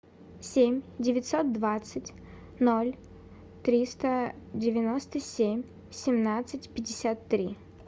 семь девятьсот двадцать ноль триста девяносто семь семнадцать пятьдесят три